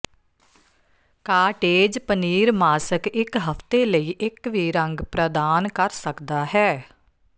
cottage paneer mask ਇੱਕ ਹਫ਼ਤੇ ਲਈ ਇੱਕ ਵੀ ਰੰਗ ਪ੍ਰਦਾਨ ਕਰ ਸਕਦਾ ਹੈ